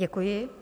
Děkuji.